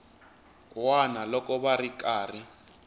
wana loko va ri karhi